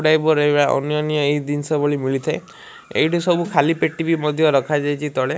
Fibre ଏଇ ଭଳିଆ ଅନ୍ୟାନ୍ୟ ଏହି ଦିନଷ ଭଳି ମିଳିଥାଏ। ଏଇଠି ସବୁ ଖାଲି ପେଟି ବି ମଧ୍ୟ ରଖାଯାଇଚି ତଳେ।